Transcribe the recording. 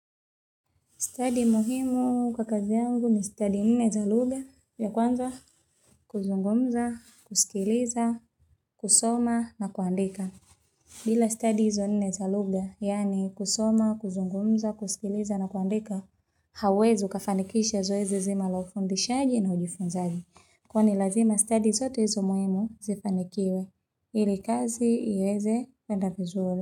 Stadi muhimu kwa kazi yangu ni stadi nne za lugha ya kwanza kuzungumza, kusikiliza, kusoma na kuandika. Bila stadi hizo nne za lugha, yani kusoma, kuzungumza, kusikiliza na kuandika, hauwezi ukafanikisha zoezi zima la ufundishaji na ujifunzaji. Kwa ni lazima stadi zote hizo muhimu zifanikiwe, ili kazi iweze kuenda vizuri.